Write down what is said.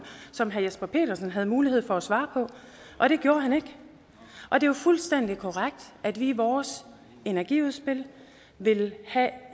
som herre jesper petersen havde mulighed for at svare på og det gjorde han ikke det er jo fuldstændig korrekt at vi i vores energiudspil vil have